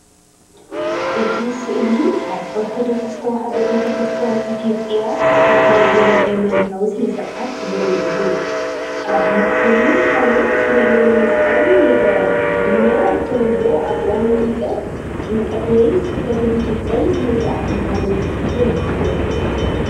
እቲ ስእሊ ኣብ ኦርቶዶክስ ተዋህዶ ቤተክርስትያን ኢትዮጵያ ዝካየድ ዘሎ ሃይማኖታዊ ስነ-ስርዓት ዘርኢ እዩ። ኣብ ማእከሉ ታቦት ዘለዎ መስቀል ይርአ፣ እዚ ድማ ብተለምዶ ኣብ እዋን ጥምቀት፡ ጥምቀት ወይ ስብከት ዝፍጸም ስነ-ስርዓት ምዃኑ የመልክት።